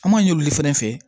An m'a ɲini olu fɛnɛ fɛ